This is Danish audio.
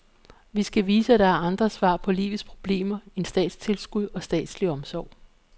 Vi skal vise, at der er andre svar på livets problemer end statstilskud og statslig omsorg.